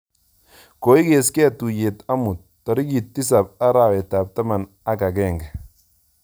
Koigeskei tuyeet omut, tarikit tisap arawetap taman ak agenge